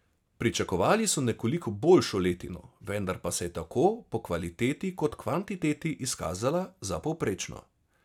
Pričakovali so nekoliko boljšo letino, vendar pa se je tako po kvaliteti kot kvantiteti izkazala za povprečno.